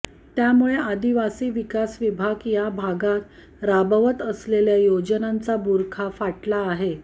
त्यामुळे आदिवासी विकास विभाग या भागात राबवत असलेल्या योजनांचा बुरखा फाटला आहे